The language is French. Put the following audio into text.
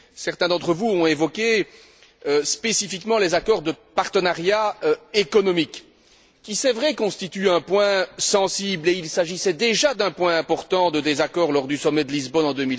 Certains d'entre vous ont évoqué spécifiquement les accords de partenariat économique qui, c'est vrai, constituent un point sensible et qui étaient déjà un point important de désaccord lors du sommet de Lisbonne en